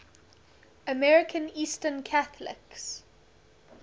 american eastern catholics